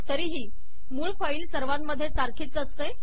तरीही मूळ फाईल सर्वांमधे सारखीच असते